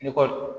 I kɔ